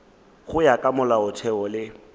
go ya ka molaotheo le